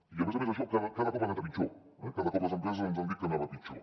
i a més a més això cada cop ha anat a pitjor cada cop les empreses ens han dit que anava a pitjor